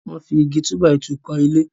wón fí Igi túbàìtuù kò ilé.